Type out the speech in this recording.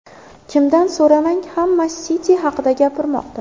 Kimdan so‘ramang, hamma City haqida gapirmoqda.